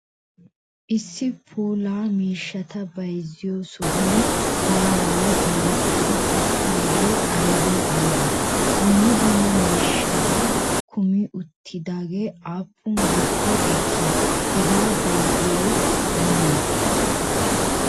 Issi puulaa miishshataa bayziyo sohuwan maararaa doretidi uttidage aybe aybbe? Duummaa duummaa miishshata kumi uttidagee appun gaatee eeki? Hegaa bayziyay oone?